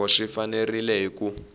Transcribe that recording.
loko swi fanerile hi ku